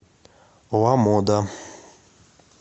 ламода